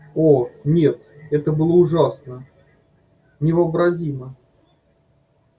о нет это было ужасно невообразимо